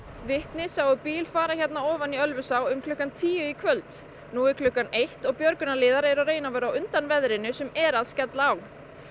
vitni sáu bíl fara ofan í Ölfusá klukkan tíu í kvöld nú er klukkan eitt og eru að reyna að vera á undan veðrinu sem er að skella á